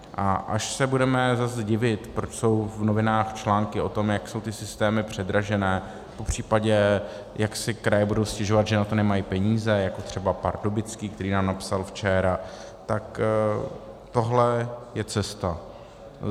A až se budeme zase divit, proč jsou v novinách články o tom, jak jsou ty systémy předražené, popřípadě jak si kraje budou stěžovat, že na to nemají peníze, jako třeba Pardubický, který nám napsal včera, tak tohle je cesta.